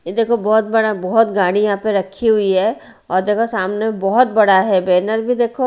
ये देखो बहुत बड़ा बहुत गाड़ी यहां पे रखी हुई है और देखो सामने बहुत बड़ा है बैनर भी देखो।